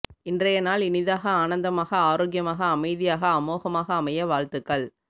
இன்றைய நாள் இனியதாக ஆனந்தமாக ஆரோக்யமாக அமைதியாயக அமோகமாக அமைய வாழ்த்துகள்